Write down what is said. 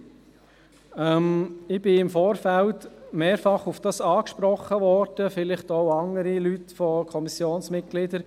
Zur Planungserklärung 7: Ich wurde im Vorfeld mehrfach darauf angesprochen, vielleicht auch andere Kommissionsmitglieder.